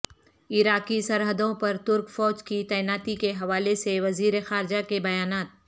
عراقی سرحدوں پر ترک فوج کی تعیناتی کے حوالے سے وزیر خارجہ کے بیانات